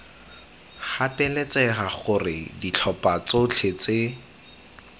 gapeletsega gore ditlhopha tsotlhe tse